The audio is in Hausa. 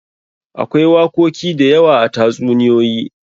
Akwai wakoki da yawa a tatsuniyoyi.